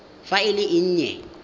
fa e le e nnye